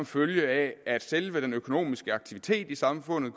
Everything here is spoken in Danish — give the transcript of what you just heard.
følge af at selve den økonomiske aktivitet i samfundet